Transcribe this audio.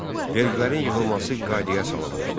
Vergilərin yığılması qaydaya salınmışdı.